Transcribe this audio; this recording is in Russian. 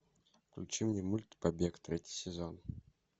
включи мне мульт побег третий сезон